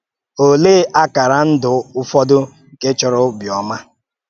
Òlee àkàrá ndụ ụfọdụ nke chọrọ ọ̀bịọ́mà?